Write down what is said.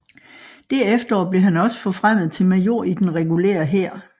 Det efterår blev han også forfremmet til major i den regulære hær